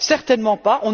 Certainement pas.